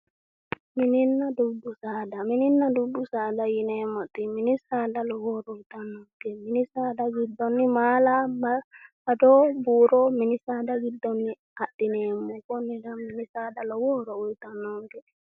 Mininna dubbu saada mininna dubbu saada yineemmoti mini saada lowo horo uyitannonke mini saada giddonni maala ado buuro mini saada giddonni adhineemmo konnira mini saada lowo horo uyitannonke